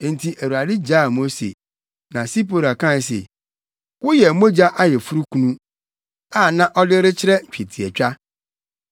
Enti Awurade gyaa Mose. (Na Sipora kae se, “Woyɛ mogya ayeforokunu,” a na ɔde rekyerɛ twetiatwa.)